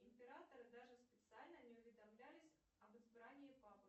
императоры даже специально не уведомлялись об избрании папы